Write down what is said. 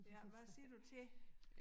Ja hvad siger du til det?